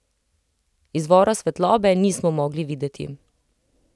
Izvora svetlobe nismo mogli videti.